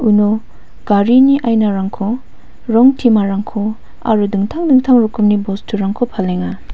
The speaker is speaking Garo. uno garini ainarangko rong timarangko aro dingtang dingtang rokomni bosturangko palenga.